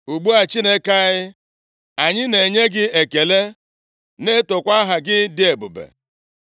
Ugbu a, Chineke anyị, anyị na-enye gị ekele na-etokwa aha gị dị ebube.